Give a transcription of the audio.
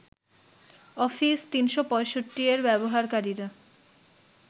office ৩৬৫ এর ব্যবহারকারীরা